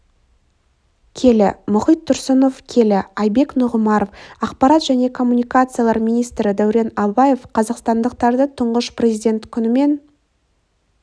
келі мұхит тұрсынов келі айбек нұғымаров ақпарат және коммуникациялар министрі дәурен абаев қазақстандықтарды тұңғыш президент күнімен